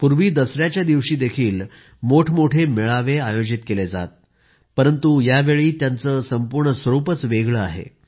पूर्वी दसऱ्याचा दिवशीही मोठमोठे मेळावे आयोजित केले जात परंतु यावेळी त्यांचं संपूर्ण स्वरूपच वेगळं आहे